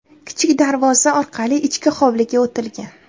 Kichik darvoza orqali ichki hovliga o‘tilgan.